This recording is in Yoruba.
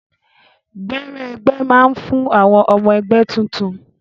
Gbẹrẹ ẹgbẹ máa n fún àwọn ọmọ ẹgbẹ tuntun.